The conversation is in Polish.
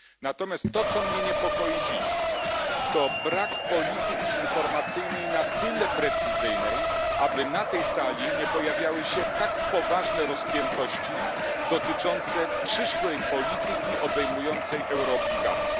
Natomiast to, co mnie dziś niepokoi, to brak polityki informacyjnej na tyle precyzyjnej, aby na tej sali nie pojawiały się tak poważne rozpiętości dotyczące przyszłej polityki obejmującej euroobligacje.